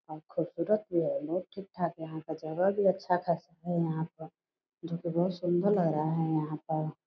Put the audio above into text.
और खूबसूरत भी है ठीक-ठाक यहां का जगह भी अच्छा खासा है यहां पर जो की बहुत सुंदर लग रहा है यहां पर।